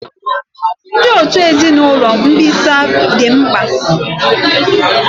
Ndị otu ezinụlọ mbisa dị mkpa.